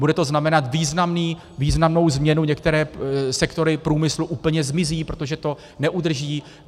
Bude to znamenat významnou změnu, některé sektory průmyslu úplně zmizí, protože to neudrží.